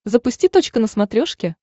запусти точка на смотрешке